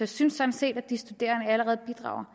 synes sådan set at de studerende allerede bidrager